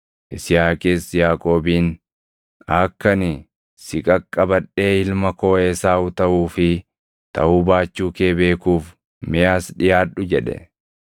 Yisihaaqis Yaaqoobiin, “Akka ani si qaqqabadhee ilma koo Esaaw taʼuu fi taʼuu baachuu kee beekuuf mee as dhiʼaadhu” jedhe.